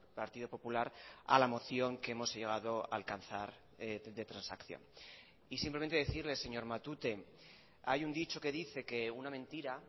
partido popular a la moción que hemos llegado a alcanzar de transacción y simplemente decirle señor matute hay un dicho que dice que una mentira